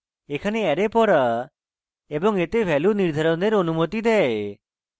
এখানে array পড়া এবং এতে ভ্যালু নির্ধারণের অনুমতি দেয়